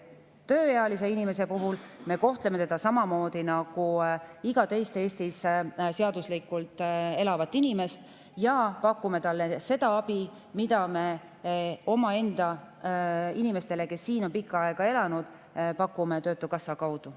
Tööealist inimest me kohtleme samamoodi nagu iga teist Eestis seaduslikult elavat inimest ja pakume talle seda abi, mida me omaenda inimestele, kes siin on pikka aega elanud, pakume töötukassa kaudu.